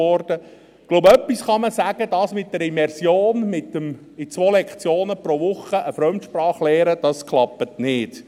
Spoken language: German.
Ich glaube, etwas kann man sagen: Das mit der Immersion, in 2 Stunden pro Woche eine Fremdsprache zu lernen, das klappt nicht.